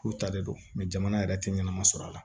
K'u ta de don jamana yɛrɛ tɛ ɲɛnama sɔrɔ a la